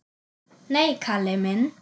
Nei, Kalli minn.